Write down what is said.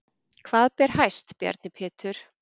Hvað ber hæst Bjarni Pétur?